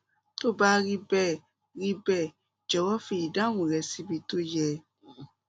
tó bá rí bẹẹ rí bẹẹ jọwọ fi ìdáhùn rẹ síbi tó yẹ